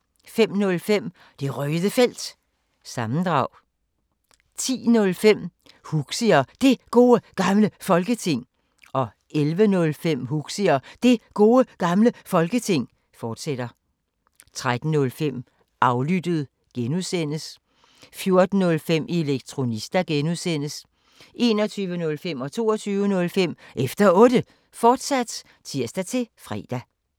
05:05: Det Røde Felt – sammendrag 10:05: Huxi og Det Gode Gamle Folketing 11:05: Huxi og Det Gode Gamle Folketing, fortsat 13:05: Aflyttet G) 14:05: Elektronista (G) 21:05: Efter Otte, fortsat (tir-fre) 22:05: Efter Otte, fortsat (tir-fre)